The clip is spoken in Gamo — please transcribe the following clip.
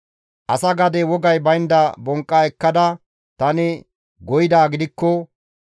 «Asa gade wogay baynda bonqqa ekkada tani goyidaa gidikko,